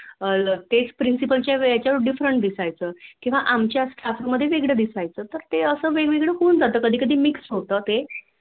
अह तेच Principal च्या वेळे त्याच्यावर वेगळं दिसायचं आमच्या Staff मध्ये वेगवेगळं दिसायचं ते असं वेग वेगळं होऊन जायचं कधी कधी Mix होत ते